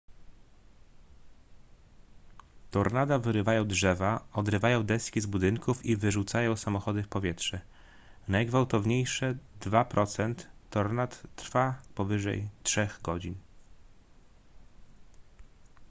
tornada wyrywają drzewa odrywają deski z budynków i wyrzucają samochody w powietrze najgwałtowniejsze dwa procent tornad trwa powyżej trzech godzin